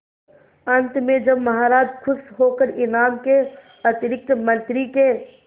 अंत में जब महाराज खुश होकर इनाम के अतिरिक्त मंत्री के